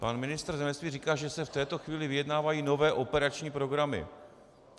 Pan ministr zemědělství říká, že se v této chvíli vyjednávají nové operační programy.